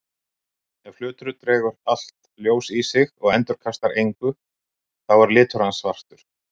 Ef hlutur dregur allt ljós í sig og endurkastar engu þá er litur hans svartur.